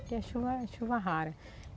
Aqui é chuva é chuva rara.